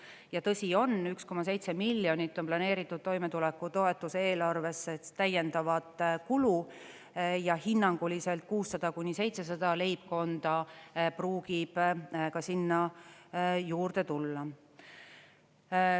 Ja tõsi on, 1,7 miljonit on planeeritud toimetulekutoetuse eelarvesse täiendavat kulu ja hinnanguliselt 600–700 leibkonda pruugib ka sinna juurde tulla.